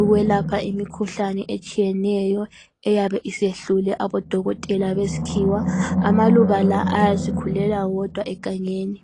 ukwelapha imikhuhlane etshiyeneyo eyabe isehlule abodokotela beskhiwa. Amaluba la ayasikhulela wodwa egangeni.